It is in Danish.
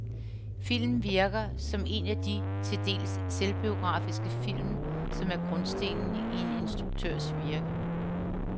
Filmen virker som en af de til dels selvbiografiske film, som er grundstenen i en instruktørs virke.